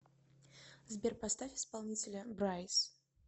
сбер поставь исполнителя брайс